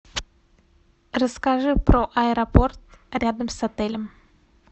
расскажи про аэропорт рядом с отелем